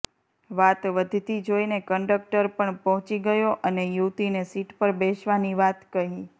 વાત વધતી જોઈને કંડક્ટર પણ પહોંચી ગયો અને યુવતીને સીટ પર બેસવાની વાત કહી